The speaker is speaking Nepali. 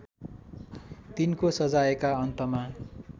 तिनको सजायका अन्तमा